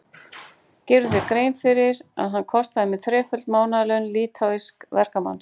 Gerirðu þér grein fyrir að hann kostaði mig þreföld mánaðarlaun litháísks verkamanns?